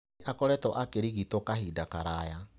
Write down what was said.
Nĩ akoretwo akĩrigitwo kahinda karaya.